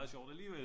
Sjovt alligevel